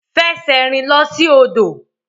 Fẹsẹ̀rìn lọ sí odò.